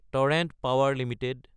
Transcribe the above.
torrent power Ltd